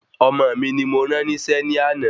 Ọmọ mi ni mo rán nísé ní àná